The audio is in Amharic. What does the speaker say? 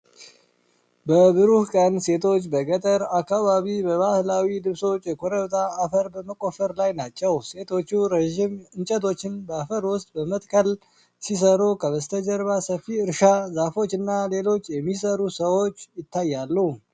በብሩህ ቀን፣ ሴቶች በገጠር አካባቢ በባህላዊ ልብሶች የኮረብታ አፈር በመቆፈር ላይ ናቸው። ሴቶቹ ረጅም እንጨቶችን በአፈር ውስጥ በመትከል ሲሰሩ፣ ከበስተጀርባ ሰፊ እርሻ፣ ዛፎች እና ሌሎች የሚሰሩ ሰዎች ይታያሉ።